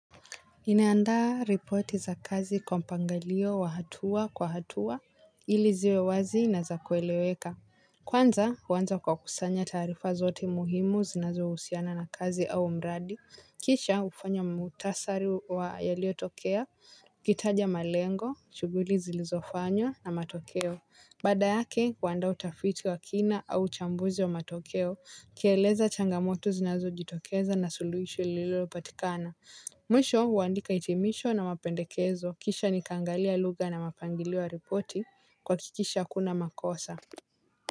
Ninaandaa ripoti za kazi kwa mpangilio wa hatua kwa hatua ili ziwe wazi na za kueleweka. Kwanza huanza kwa kusanya taarifa zote muhimu zinazohusiana na kazi au mradi. Kisha hufanya mukhtasari wa yaliotokea, ukitaja malengo, shughuli zilizofanywa na matokeo. Baada yake, huandaa utafiti wa kina au uchambuzi wa matokeo. Ukieleza changamoto zinazojitokeza na suluhisho lililopatikana. Mwisho huandika itimisho na mapendekezo kisha nikaangalia lugha na mapangilio ya ripoti kwa kuhakikisha hakuna makosa.